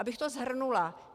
Abych to shrnula.